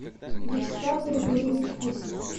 вячеслав григорьевич гусев